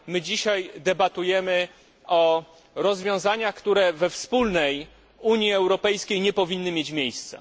My dzisiaj debatujemy nad rozwiązaniami, które we wspólnej Unii Europejskiej nie powinny mieć miejsca.